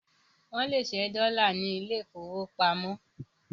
Wọ́n lè ṣẹ́ dọ́là ní ilé ìfowópamọ́